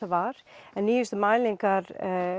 var en nýjustu mælingar